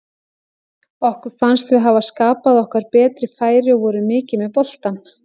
Okkur fannst við hafa skapað okkur betri færi og vorum mikið með boltann.